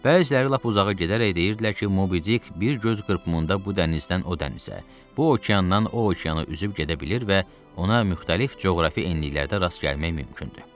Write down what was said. Bəziləri lap uzağa gedərək deyirdilər ki, Mobidik bir göz qırpımında bu dənizdən o dənizə, bu okeandan o okeana üzüb gedə bilir və ona müxtəlif coğrafi enliklərdə rast gəlmək mümkündür.